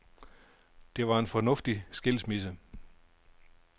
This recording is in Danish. Det var en fornuftig skilsmisse.